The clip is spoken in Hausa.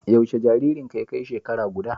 Yaushe jaririnka ya kai shekara guda?